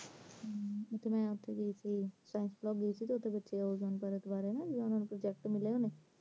ਹੱਮ ਮੈਂ ਓਥੇ ਗਈ ਸੀ science block, ਓਥੇ ਬੱਚਿਆਂ ਨੂੰ ozone ਪਰਤ ਵਾਰੇ project ਮਿਲੇ ਹੋਣੇ